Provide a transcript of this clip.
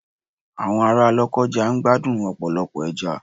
Àwọn ará Lokoja ń gbádùn ọ̀pọ̀lọpọ̀ ẹja.